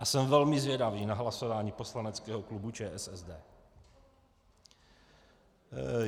A jsem velmi zvědavý na hlasování poslaneckého klubu ČSSD.